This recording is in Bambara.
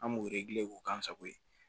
An b'o k'o k'an sago ye